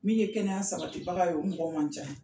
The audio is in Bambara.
Min ye kɛnɛya sabatibaga ye o mɔgɔw man can.